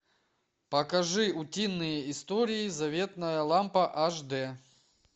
покажи утиные истории заветная лампа аш дэ